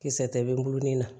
Kisɛ tɛ nu na